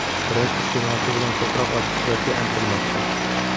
Brend iste’molchi bilan ko‘proq ochiq suhbatga intilmoqda.